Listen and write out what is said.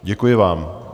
Děkuji vám.